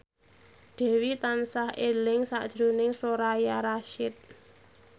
Dewi tansah eling sakjroning Soraya Rasyid